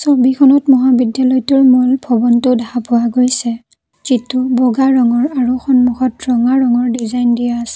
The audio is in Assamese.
ছবিখনত মহাবিদ্যালয়টোৰ মূল ভৱনটো দেখা পোৱা গৈছে যিটো বগা ৰঙৰ আৰু সন্মুখত ৰঙা ৰঙৰ ডিজাইন দিয়া আছে।